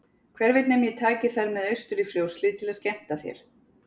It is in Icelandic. Hver veit nema ég taki þær með austur í Fljótshlíð til að skemmta þér.